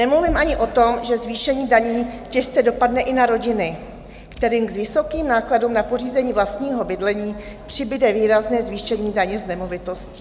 Nemluvím ani o tom, že zvýšení daní těžce dopadne i na rodiny, kterým k vysokým nákladům na pořízení vlastního bydlení přibude výrazné zvýšení daně z nemovitostí.